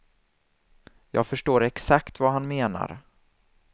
Jag förstår exakt vad han menar.